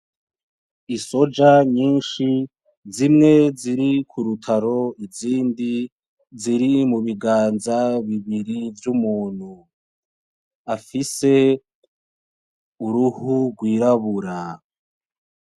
I soja nyinshi, zimwe ziri ku rutaro izindi ziri mu biganza bibiri vy'umuntu afise uruhu rwirabura.